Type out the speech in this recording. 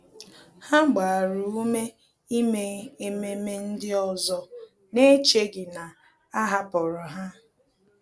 Há gbàrà ume ímé ememe ndị ọzọ n’échèghị́ na a hàpụ̀rụ́ ha.